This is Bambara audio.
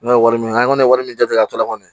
N'o ye wari min ye an kɔni ye wari min jate a to la kɔni